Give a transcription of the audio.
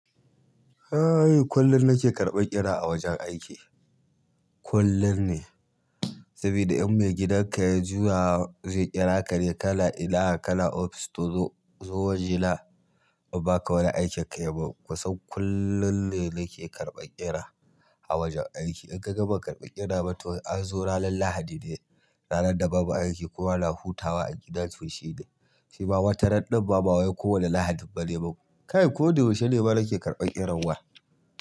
Kullum nake karɓar ƙira a wajen aiki, kullum ne. Saboda in maigidanka ya juya zai kira ka ne kana ina, kana ofis to zo waje na in baka wani aikin kayi ba. Kusan kullum ne nake karɓar ƙira a wajen aiki. In kaga ban karɓi ƙira ba, to ranar Lahadi ne, ranar da babu aiki kowa na hutawa a gida to shine. Shima wata ran ɗin ma ba wai ko wane lahadin bane. Kai koda yaushe ne fa nake karɓar ƙiran wa?